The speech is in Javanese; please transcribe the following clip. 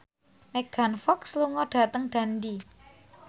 Megan Fox lunga dhateng Dundee